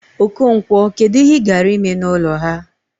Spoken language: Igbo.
Okonkwo, kedu ihe ị gara ime n'ụlọ ha?